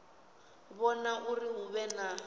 vhona uri hu vhe na